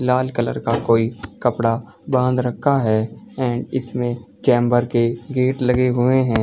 लाल colour का कोई कपड़ा बांध रखा हैं एंड इसमें चैम्बर के गेट लगे हुए हैं।